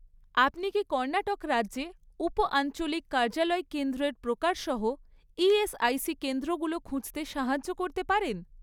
আপনি কি কর্ণাটক রাজ্যে উপ আঞ্চলিক কার্যালয় কেন্দ্রের প্রকার সহ ইএসআইসি কেন্দ্রগুলো খুঁজতে সাহায্য করতে পারেন?